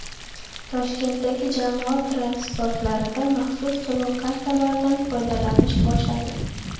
Toshkentdagi jamoat transportlarida maxsus to‘lov kartalaridan foydalanish boshlandi.